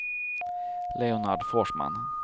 Leonard Forsman